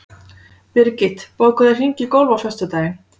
Birgit, bókaðu hring í golf á föstudaginn.